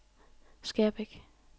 Skærbæk